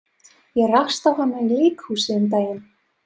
Ég rakst á hana í leikhúsi um daginn.